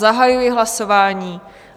Zahajuji hlasování.